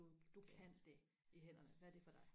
du du kan det i hænderne hvad er det for dig